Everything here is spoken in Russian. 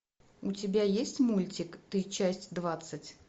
у тебя есть мультик ты часть двадцать